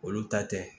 Olu ta tɛ